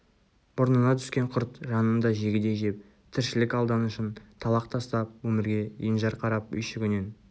мұрнына түскен құрт жанын да жегідей жеп тіршілік алданышын талақ тастап өмірге енжар қарап үйшігінен